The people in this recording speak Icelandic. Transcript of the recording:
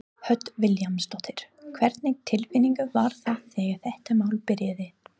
Hödd Vilhjálmsdóttir: Hvernig tilfinning var það þegar þetta mál byrjaði?